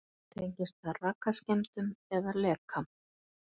Tengist það rakaskemmdum eða leka?